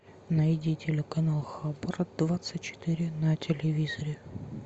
найди телеканал хабр двадцать четыре на телевизоре